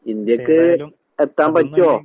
ഇന്ത്യക്ക് എത്താമ്പറ്റോ?